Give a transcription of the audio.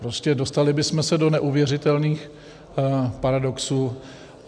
Prostě dostali bychom se do neuvěřitelných paradoxů.